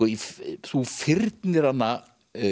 þú fyrnir hana